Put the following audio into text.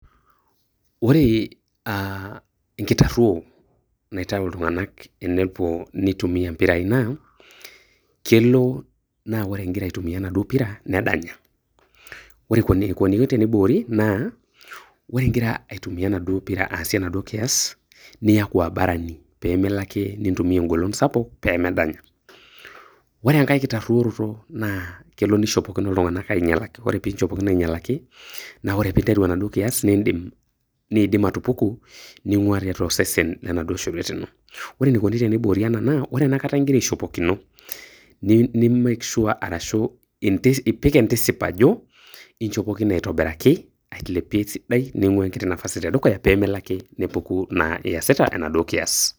Ore nkitaruo naitayu iltung'ana te nepuo neitumia impirai naa kelo naa ore ogira aitumia enaduo pira nedanya. Ore eneikuni pee eibukoriii naa ore igira aitumia enaduo pira asie inaduo kias naa iaku abarani pee melo ake nintumia engolon sapuk pee medanya. Ore enkai kitaruoroto naa kelo neishopokino iltung'ana ainyalakino ore pee inchopokino ainyalaki naa ore iasita indim atupuku ningua tiatua osesen le naduo shorwet ino. Ore eneikuni teneiboori ena naa, ore ena kata igira aishopokino ni make sure arashu ipik entisip ajo inchopokine aitobiraki ailepie esidai ning'ua nafasi te dukuya pee melo naa ake nepuku iasita inaduo kias.